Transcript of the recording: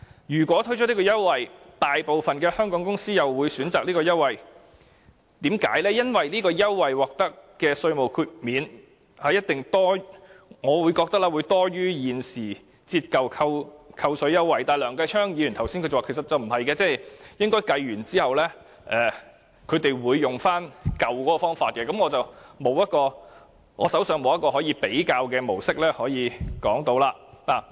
如果推出優惠，相信大部分香港公司也會選擇它，就是由於這個優惠獲得的稅務寬免，我認為一定會多於現時的折舊扣稅優惠，但梁繼昌議員剛才又說其實不是的，並指它們在計算後應該會使用舊方法，但我手上便沒有一個可以比較的模式作分析。